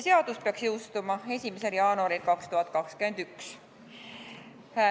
Seadus peaks jõustuma 1. jaanuaril 2021.